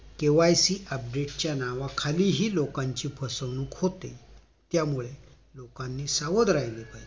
KYC update च्या नावाखाली हि लोकांची फसवणूक होते त्यामुळे लोकांनी सावध राहिले पाहिजेत